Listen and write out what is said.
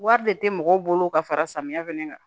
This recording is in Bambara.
Wari de tɛ mɔgɔw bolo ka fara samiyɛ fɛnɛ kan